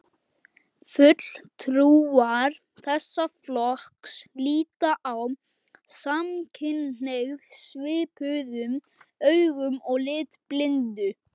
Fulltrúar þessa flokks líta á samkynhneigð svipuðum augum og litblindu.